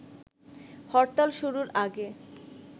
হরতাল শুরুর আগে